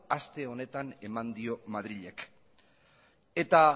aste honetan eman dio madrilek eta